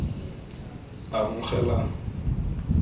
amogelang